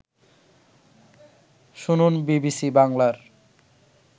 শুনুন বিবিসি বাংলার